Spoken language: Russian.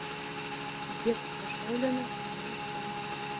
детство шелдона сезон семь